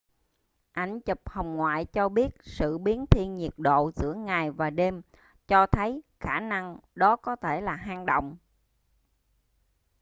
ảnh chụp hồng ngoại cho biết sự biến thiên nhiệt độ giữa ngày và đêm cho thấy khả năng đó có thể là hang động